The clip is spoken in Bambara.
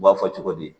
U b'a fɔ cogo di